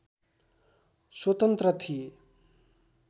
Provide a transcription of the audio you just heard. स्वतन्त्र थिए